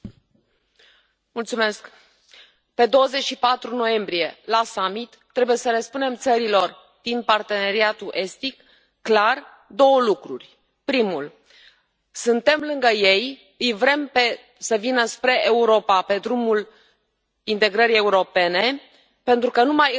Pe 24 noiembrie, la summit, trebuie să le spunem țărilor din Parteneriatul Estic clar două lucruri primul suntem lângă ei, îi vrem să vină spre Europa pe drumul integrării europene pentru că numai în Europa este democrație,